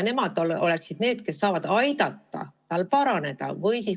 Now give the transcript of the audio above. Nemad peaksid olema need, kes saavad aidata lapsel paraneda.